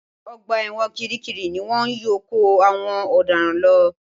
Ọgbà ẹ̀wọ̀n kiri kiri ni wọ́n yóò kó àwọn ọ̀daràn lọ